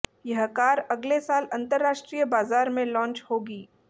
यह कार अगले साल अंतरराष्ट्रीय बाजार में लॉन्च होगी